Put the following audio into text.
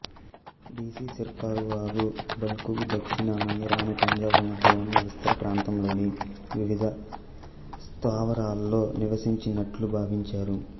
DC Sircar వారు బల్ఖుకు దక్షిణాన ఇరాను పంజాబు మధ్య ఉన్న విస్తార ప్రాంతంలోని వివిధ స్థావరాలలో నివసించినట్లు భావించారు